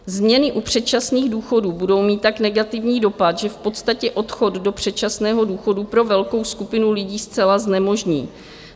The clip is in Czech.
Změny u předčasných důchodů budou mít tak negativní dopad, že v podstatě odchod do předčasného důchodu pro velkou skupinu lidí zcela znemožní.